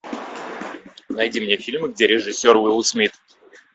найди мне фильмы где режиссер уилл смит